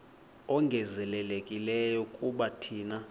ongezelelekileyo kuba thina